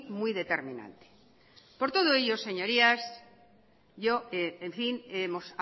muy determinante por todo ello señorías yo en fin hemos